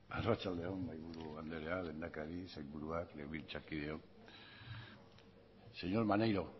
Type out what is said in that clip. arratsalde on mahaiburu anderea lehendakari sailburuak legebiltzarkideok señor maneiro